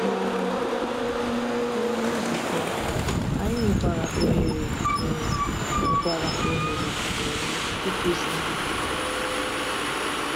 um N’ime nzukọ, anyị nwekwara ohere um nwekwara ohere um ịkụzi.